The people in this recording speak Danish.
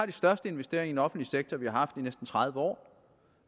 de største investeringer offentlige sektor vi har haft i næsten tredive år